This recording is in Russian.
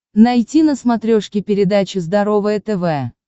найти на смотрешке передачу здоровое тв